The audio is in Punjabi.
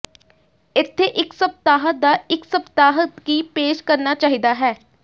ਇੱਥੇ ਇੱਕ ਸਪਤਾਹ ਦਾ ਇੱਕ ਸਪਤਾਹ ਕੀ ਪੇਸ਼ ਕਰਨਾ ਚਾਹੀਦਾ ਹੈ